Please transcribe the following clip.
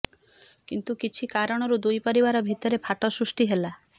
କିନ୍ତୁ କିଛି କାରଣରୁ ଦୁଇ ପରିବାର ଭିତରେ ଫାଟ ସୃଷ୍ଟି ହେଲା